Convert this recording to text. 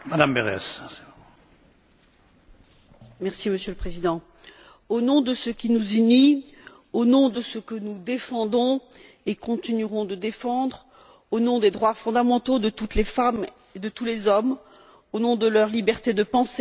Monsieur le Président, au nom de ce qui nous unit, au nom de ce que nous défendons et continuerons de défendre, au nom des droits fondamentaux de toutes les femmes et de tous les hommes, au nom de leur liberté de penser, de dire, de croire ou de ne pas croire,